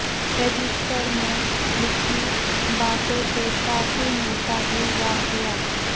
register میں لکھی باتوں سے کافی ملتا ہے واقعہ